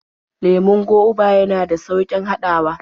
Lemon goba yana da sauƙin haɗawa.